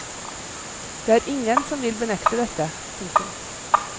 Det er ingen som vil benekte dette. punktum